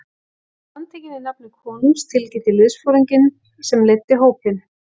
Þú er handtekinn í nafni konungs tilkynnti liðsforinginn sem leiddi hópinn.